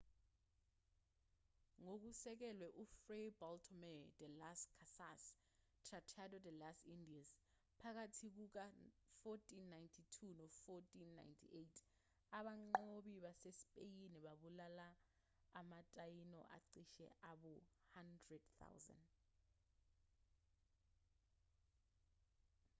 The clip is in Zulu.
ngokusekelwe kufray bartolomé de las casas tratado de las indias phakathi kuka-1492 no-1498 abanqobi basespeyini babulala ama-taíno acishe abe ngu-100,000